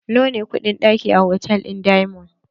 Nawa ne kuɗin ɗaki a hotal ɗin diamond?